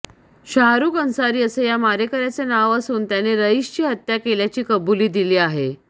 शाहरुख अन्सारी असे या मारेकर्याचे नाव असून त्याने रईसची हत्या केल्याची कबुली दिली आहे